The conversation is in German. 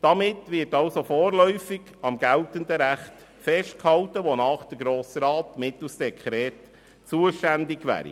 Damit wird also vorläufig am geltenden Recht festgehalten, wonach der Grosse Rat mittels Dekret zuständig wäre.